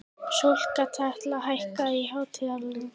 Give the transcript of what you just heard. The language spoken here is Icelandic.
Sólkatla, hækkaðu í hátalaranum.